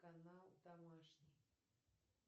канал домашний